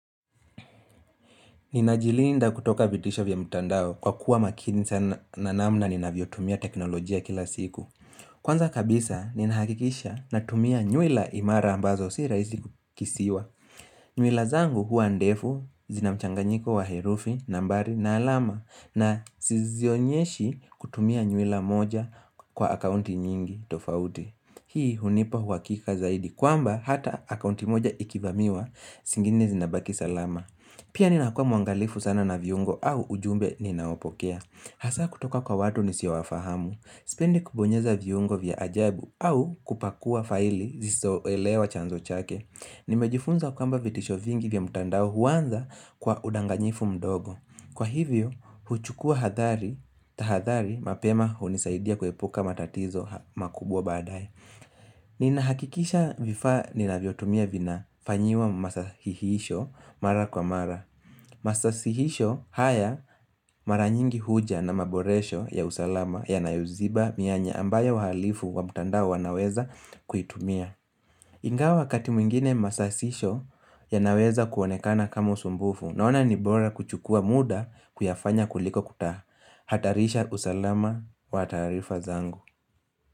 Ni na jilinda kutoka vitisho vya mtandao kwa kuwa makini sana na namna ni na vyotumia teknolojia kila siku Kwanza kabisa ni nahakikisha na tumia nyuila imara ambazo si raisi kukisiwa nyuila zangu hua ndefu zina mchanganyiko wa herufi na mbari na alama na sizionyeshi kutumia nyuila moja kwa akaunti nyingi tofauti Hii hunipa uhakika zaidi kwamba hata akaunti moja ikivamiwa singine zinabaki salama Pia ninakua muangalifu sana na viungo au ujumbe ninaopokea Hasa kutoka kwa watu nisio wafahamu Sipendi kubonyeza viungo vya ajabu au kupakua faili nisizo elewa chanzo chake Nimejifunza kwamba vitisho vingi vya mtandao huanza kwa udanganyifu mdogo Kwa hivyo, huchukua hathari, tahathari mapema hunisaidia kuepuka matatizo makubwa baadae Nina hakikisha vifaa nina vyotumia vina fanyiwa masasihisho mara kwa mara Masasihisho haya mara nyingi huja na maboresho ya usalama ya nayoziba mianya ambayo wahalifu wa mtandao wanaweza kuitumia Ingawa wakati mwingine masasisho ya naweza kuonekana kama usumbufu naona nibora kuchukua muda kuyafanya kuliko kuta Hatarisha usalama wa taarifa zangu.